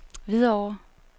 Hvidovre